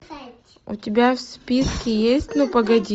у тебя в списке есть ну погоди